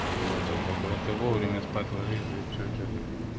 ну тогда просто вовремя спать ложись да и все что ты